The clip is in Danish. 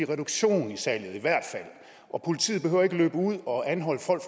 reduktion i salget og politiet behøver ikke at løbe ud og anholde folk